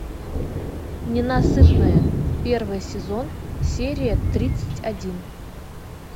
ненасытная первый сезон серия тридцать один